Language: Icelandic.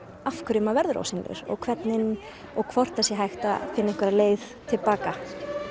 af hverju maður verður ósýnilegur og hvernig og hvort að það sé hægt að finna einhverja leið til baka